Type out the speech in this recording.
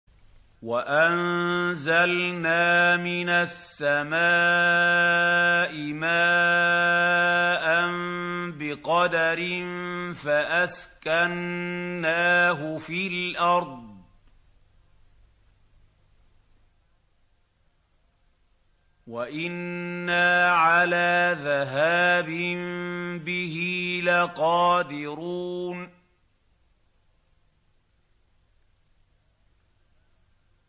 وَأَنزَلْنَا مِنَ السَّمَاءِ مَاءً بِقَدَرٍ فَأَسْكَنَّاهُ فِي الْأَرْضِ ۖ وَإِنَّا عَلَىٰ ذَهَابٍ بِهِ لَقَادِرُونَ